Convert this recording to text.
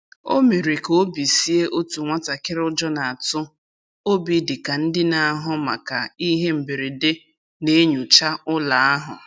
O mere ka obi sie otu nwatakịrị ụjọ na-atụ obi dị ka ndị na-ahụ maka ihe mberede na-enyocha ụlọ ahụ.